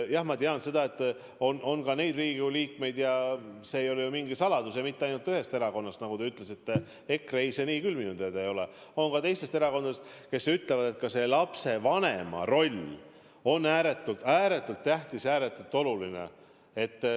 Jah, ma tean seda, et on ka neid Riigikogu liikmeid – see ei ole ju mingi saladus –, ja mitte ainult ühest erakonnast, nagu te ütlesite, EKRE-st, on ka teistest erakondadest neid, kes ütlevad, et lapsevanema roll on ääretult tähtis, ääretult oluline.